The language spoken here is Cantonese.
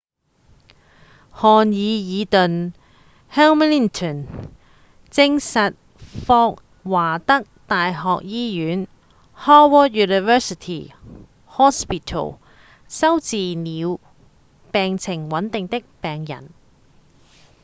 漢彌爾頓 hamilton 證實霍華德大學醫院 howard university hospital 收治了病情穩定的病人